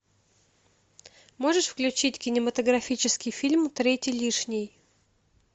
можешь включить кинематографический фильм третий лишний